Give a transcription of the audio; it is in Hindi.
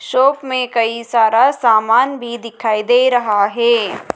शॉप मे कई सारा समान भी दिखाई दे रहा है।